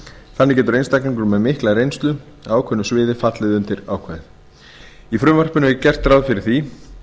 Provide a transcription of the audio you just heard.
þannig getur einstaklingur með mikla reynslu af ákveðnu sviði fallið undir ákvæðið í frumvarpinu er gert ráð fyrir því